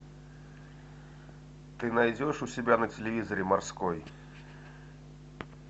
ты найдешь у себя на телевизоре морской